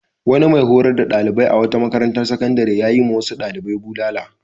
Wani mai horar da ɗalibai a wata makarantar sakandare ya yiwa wasu ɗalibai bulala.